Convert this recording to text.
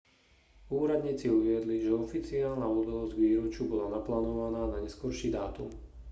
úradníci uviedli že oficiálna udalosť k výročiu bola naplánovaná na neskorší dátum